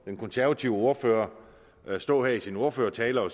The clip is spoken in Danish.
den konservative ordfører stå her i sin ordførertale at